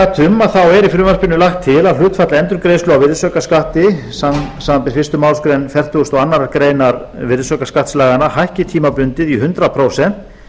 ég gat um er í frumvarpinu lagt til að hlutfall endurgreiðslu á virðisaukaskatti samanber fyrstu málsgrein fertugustu og aðra grein virðisaukaskattslaganna hækki tímabundið í hundrað prósent